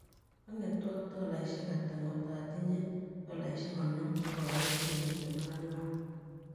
An'getuu ak tolaishiek ata ngo' tatinye tolaishiek konom agaboishien tiptem ak ang'wan